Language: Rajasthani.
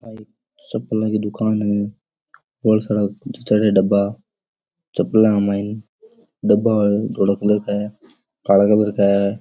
चप्पलो की दूकान है बोला सारा जचायेडा है डबा चप्पल के माइन डब्बा धोला कलर का है काला कलर का है।